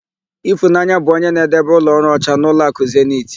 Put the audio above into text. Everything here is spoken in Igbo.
Ịfụnanya bụ onye na-edebe ụlọọrụ ọcha n'ụlọakụ zenit.